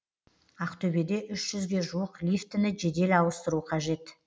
ақтөбеде үш жүзге жуық лифтіні жедел ауыстыру қажет